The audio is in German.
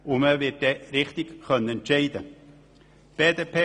Dann wird man die richtige Entscheidung fällen können.